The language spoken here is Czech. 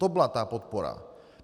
To byla ta podpora.